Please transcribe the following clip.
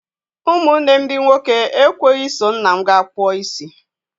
Ụmụ nne m ndị nwoke ekweghị i so nna m gaa kpụọ isi.